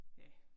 Ja